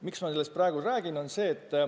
Miks ma sellest praegu räägin?